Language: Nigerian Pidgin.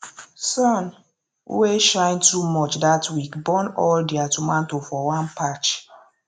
sun wey shine too much that week burn all their tomato for one patch